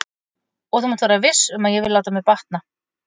Og þú mátt vera viss um að ég vil láta mér batna.